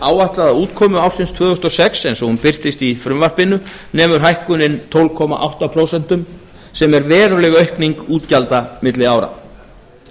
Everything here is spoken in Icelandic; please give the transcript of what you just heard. áætlaða útkomu ársins tvö þúsund og sex eins og hún birtist í frumvarpinu nemur hækkunin tólf komma átta prósentum sem er veruleg aukning útgjalda milli ára